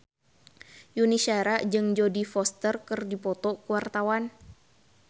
Yuni Shara jeung Jodie Foster keur dipoto ku wartawan